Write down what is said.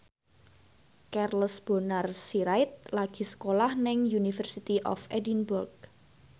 Charles Bonar Sirait lagi sekolah nang University of Edinburgh